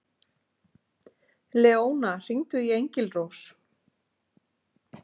Leóna, hringdu í Engilrós.